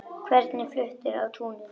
Hvernig fluttur á túnin?